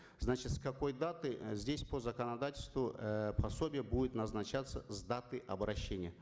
значит с какой даты э здесь по законодательству э пособие будет назначаться с даты обращения